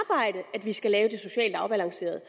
at vi skal lave det socialt afbalanceret